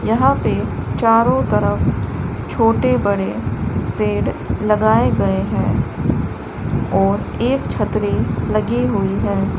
यहां पे चारों तरफ छोटे बड़े पेड़ लगाए गए हैं और एक छतरी लगी हुई है।